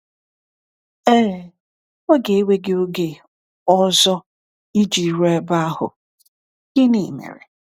Ee, ọ ga-ewe gị oge ọzọ iji ruo ebe ahụ, gịnị mere?